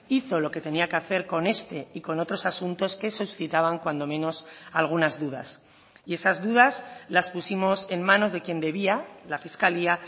hizo lo que tenía que hacer con este y con otros asuntos que suscitaban cuando menos algunas dudas y esas dudas las pusimos en manos de quien debía la fiscalía